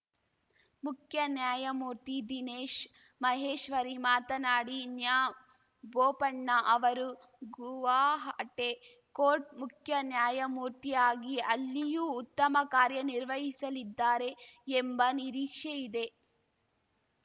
ಮುಖ್ಯ ನಾಯಮೂರ್ತಿ ದಿನೇಶ್‌ ಮಹೇಶ್ವರಿ ಮಾತನಾಡಿನ್ಯಾಬೋಪಣ್ಣ ಅವರು ಗುವಾಹಟೆ ಕೋರ್ಟ್‌ ಮುಖ್ಯ ನ್ಯಾಯಮೂರ್ತಿಯಾಗಿ ಅಲ್ಲಿಯೂ ಉತ್ತಮ ಕಾರ್ಯ ನಿರ್ವಹಿಸಲಿದ್ದಾರೆ ಎಂಬ ನಿರೀಕ್ಷೆಯಿದೆ ಇದೆ